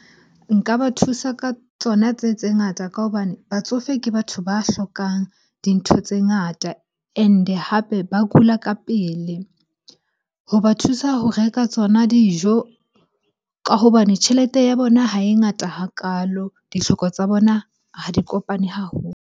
Nka ba thusa ka tsona tse, tse ngata ka hobane batsofe ke batho ba hlokang dintho tse ngata and-e hape ba kula ka pele. Hoba thusa ho reka tsona dijo ka hobane tjhelete ya bona ha e ngata hakalo, ditlhoko tsa bona ha di kopane haholo.